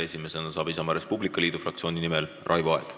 Esimesena saab Isamaa ja Res Publica Liidu fraktsiooni nimel sõna Raivo Aeg.